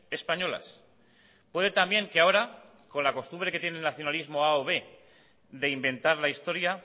españolas puede también que ahora con la costumbre que tiene el nacionalismo a o b de inventar la historia